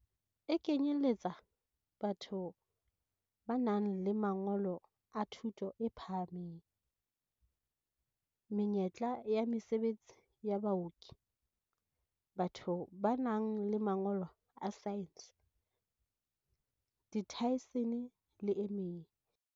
E kenyeletsa batho ba nang le mangolo a thuto e phahameng, menyetla ya mesebetsi ya baoki, batho ba nang le mangolo a saense, diathesine le e meng.